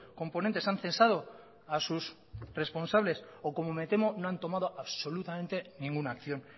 componentes han cesado a sus responsables o como me temo no han tomado absolutamente ninguna acción